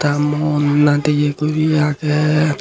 ta mon nadeye guri age.